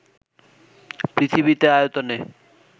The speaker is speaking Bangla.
পৃথিবীতে আয়তনে